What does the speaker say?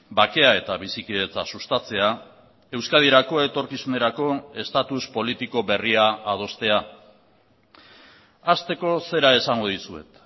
bakea eta bizikidetza sustatzea euskadirako etorkizunerako estatus politiko berria adostea hasteko zera esango dizuet